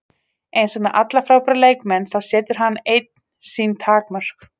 Eins og með alla frábæra leikmenn, þá setur hann einn sín takmörk.